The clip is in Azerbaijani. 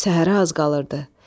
Səhərə az qalırdı.